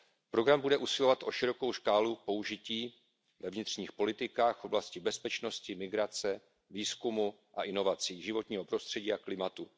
Program bude usilovat o širokou škálu použití ve vnitřních politikách, v oblasti bezpečnosti, migrace, výzkumu a inovací, životního prostředí a klimatu.